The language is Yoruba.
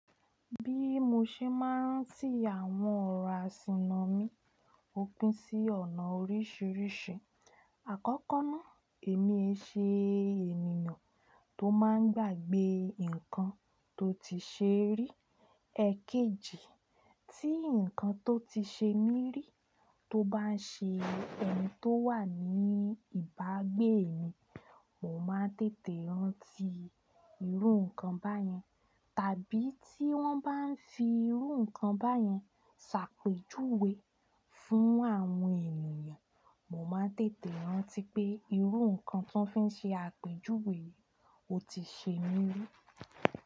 Bí mo ṣe máa ń tì àwọn ọ̀rọ̀ àsìnà mi ó pín sí ọ̀nà oríṣìíríṣìí. Àkọ́kọ́ náà èmi ẹ ṣe ènìyàn tó máa ń gbàgbé nǹkan tó ti ṣe rí, èkejì tí nǹkan tó ti ṣe mí rí tó bá ń ṣe ẹni tó wà ní ìbágbé mi, mo máa ń tètè rántí irú nǹkan báyẹn. Tàbí tí wọ́n bá ń fi irú nǹkan báyẹn ṣàpèjúwe fún àwọn ènìyàn, mo máa ń tètè rántí pé irú nǹkan tí wọ́n fi ṣe àpèjúwe o ti ṣe mí rí.